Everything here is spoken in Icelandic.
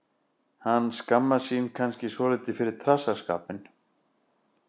Hann skammast sín kannski svolítið fyrir trassaskapinn.